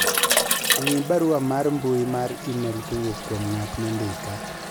ng'i barua mar mbui mar email kowuok kuom ng'at mondika